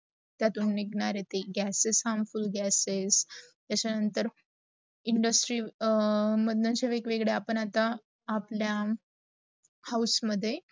त्या तुन निगणारे ती gases harmful gases, त्याचा नंतर industry मंडळ आपण वेग वेगडा आपल्या house मध्ये